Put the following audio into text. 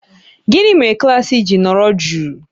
Gịnị mere klaasị ji nọrọ jụụ?